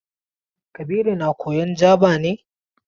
Kabiru na koyan Jaba ne?